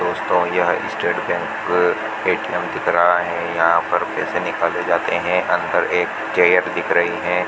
दोस्तों यह state bank ATM दिख रहा है यहां पर पैसे निकाले जाते हैं अंदर एक चेयर दिख रही है।